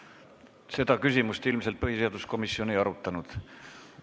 Seda küsimust ilmselt põhiseaduskomisjon ei arutanud.